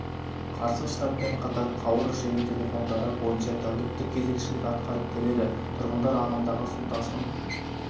қарсы штабпен қатар қауыр желі телефондары бойынша тәуліктік кезекшілік атқарып келеді тұрғындар ағымдағы су тасқын